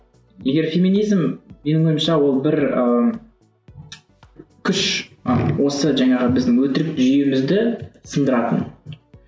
егер феминизм менің ойымша ол бір ыыы күш ы осы жаңағы біздің өтірік жүйемізді сындыратын